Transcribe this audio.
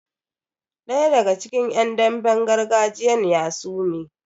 Daya daga cikin yan damben gargajiyan ya sume.